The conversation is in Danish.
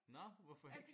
Nå hvorfor ikke?